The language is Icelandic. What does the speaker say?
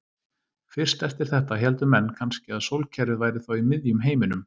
Fyrst eftir þetta héldu menn kannski að sólkerfið væri þá í miðjum heiminum.